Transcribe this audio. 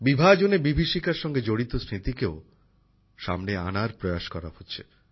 বিভাজনের বিভীষিকার সঙ্গে জড়িত স্মৃতিকেও সামনে আনার প্রয়াস করা হচ্ছে